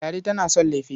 Ladi tana son lefe.